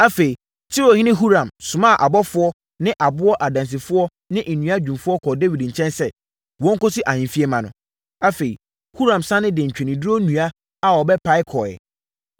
Afei, Tirohene Huram somaa abɔfoɔ ne aboɔ adansifoɔ ne nnua dwumfoɔ kɔɔ Dawid nkyɛn sɛ, wɔnkɔsi ahemfie mma no. Afei, Huram sane de ntweneduro nnua a wɔbɛpae kɔeɛ.